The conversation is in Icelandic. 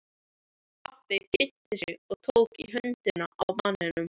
Pabbi kynnti sig og tók í höndina á manninum.